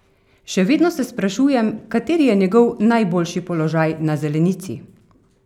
Še vedno se sprašujem, kateri je njegov najboljši položaj na zelenici?